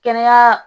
Kɛnɛya